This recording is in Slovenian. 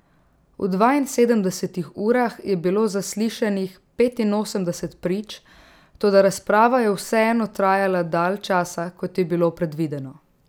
V dvainsedemdesetih urah je bilo zaslišanih petinosemdeset prič, toda razprava je vseeno trajala dalj časa, kot je bilo predvideno.